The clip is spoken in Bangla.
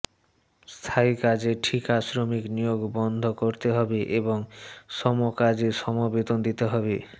স্থায়ী কাজে ঠিকা শ্রমিক নিয়োগ বন্ধ করতে হবে এবং সমকাজে সম বেতন দিতে হবে